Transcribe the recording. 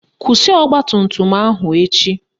Kwụsị ọgbatumtum ahụ echi